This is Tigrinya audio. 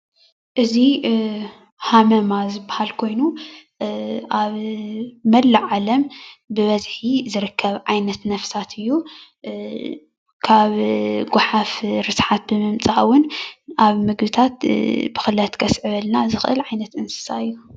እዚ ሃመማ ዝባሃል ኮይኑ ኣብ መላእ ዓለም ብበዝሒ ዝርከብ ዓይነት ነፍሳት እዩ፡፡ ካብ ጓሓፍ ርስሓት ብምምፃእ እውን ኣብ ምግብታት ብክለት ከስዕበልና ዝክእል ዓይነት እንስሳ እዩ፡፡